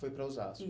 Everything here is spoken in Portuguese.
Foi para Osasco.